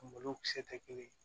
Malokisɛ tɛ kelen ye